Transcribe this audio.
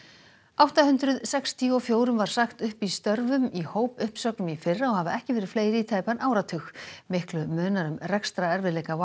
átta hundruð sextíu og fjórum var sagt upp störfum í hópuppsögnum í fyrra og hafa ekki verið fleiri í tæpan áratug miklu munar um rekstrarerfiðleika